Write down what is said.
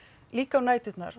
líka á næturnar